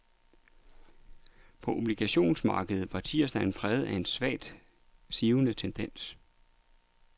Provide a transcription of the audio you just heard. På obligationsmarkedet var tirsdagen præget af en svagt sivende tendens.